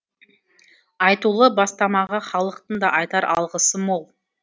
айтулы бастамаға халықтың да айтар алғысы мол